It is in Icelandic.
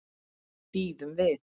Bíðum við.